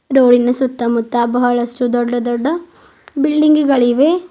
Road ಇನ ಸುತ್ತಮುತ್ತ ಬಹಳಷ್ಟು ದೊಡ್ಡ ದೊಡ್ಡ ಬಿಲ್ಡಿಂಗ್ ಗಳಿವೆ.